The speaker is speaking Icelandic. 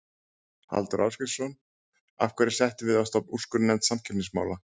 Halldór Ásgrímsson: Af hverju settum við á stofn úrskurðarnefnd samkeppnismála?